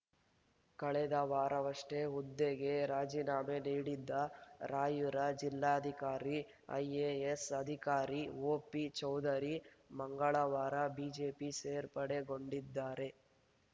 ಕಳೆದ ವಾರವಷ್ಟೇ ಹುದ್ದೆಗೆ ರಾಜೀನಾಮೆ ನೀಡಿದ್ದ ರಾಯ್ಪುರ ಜಿಲ್ಲಾಧಿಕಾರಿ ಐಎಎಸ್‌ ಅಧಿಕಾರಿ ಒಪಿ ಚೌಧರಿ ಮಂಗಳವಾರ ಬಿಜೆಪಿ ಸೇರ್ಪಡೆಗೊಂಡಿದ್ದಾರೆ